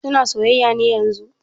Suna soyayya ne yanzun?